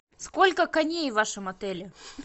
сколько коней в вашем отеле